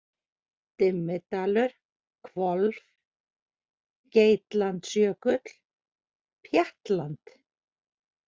Dimmidalur, Hvolf, Geitlandsjökull, Pjattland